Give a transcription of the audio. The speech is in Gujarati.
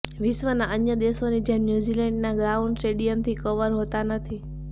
વિશ્વના અન્ય દેશોની જેમ ન્યૂઝીલેન્ડના ગ્રાઉન્ડ સ્ટેડિયમથી કવર હોતા નથી